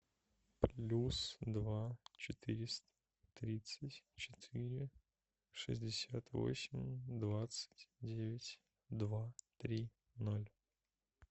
плюс два четыреста тридцать четыре шестьдесят восемь двадцать девять два три ноль